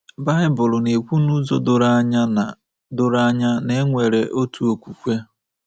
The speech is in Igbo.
Baịbụl na-ekwu n’ụzọ doro anya na doro anya na e nwere otu okwukwe.